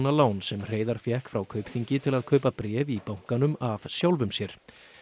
lán sem Hreiðar fékk frá Kaupþingi til að kaupa bréf í bankanum af sjálfum sér